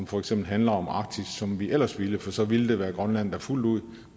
for eksempel handler om arktis som vi ellers ville for så ville det være grønland der fuldt ud